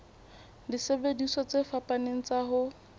disebediswa tse fapaneng tsa ho